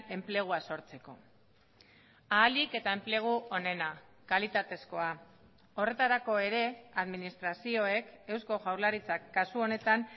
enplegua sortzeko ahalik eta enplegu onena kalitatezkoa horretarako ere administrazioek eusko jaurlaritzak kasu honetan